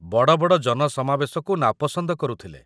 ବଡ଼ ବଡ଼ ଜନସମାବେଶକୁ ନାପସନ୍ଦ କରୁଥିଲେ